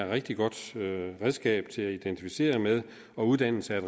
rigtig godt redskab til at identificere med og uddannelse er